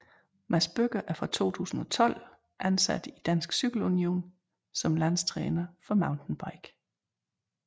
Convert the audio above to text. Mads Bødker er fra 2012 ansat i Dansk Cykel Union som landstræner for mountainbike